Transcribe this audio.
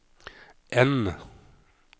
N